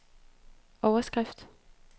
overskrift